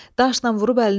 Daşnan vurub əlinə əzdim.